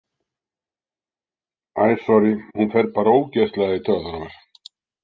Æ, sorrí, hún fer bara ógeðslega í taugarnar á mér.